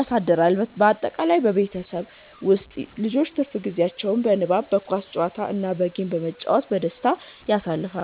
አሳድሯል። ባጠቃላይ በቤተሰባችን ውስጥ ልጆች ትርፍ ጊዜያቸውን በንባብ፣ በኳስ ጨዋታ እና በጌም በመጫወት በደስታ ያሳልፋሉ።